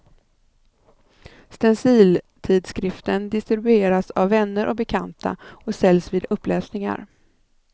Stenciltidskriften distribueras av vänner och bekanta, och säljs vid uppläsningar.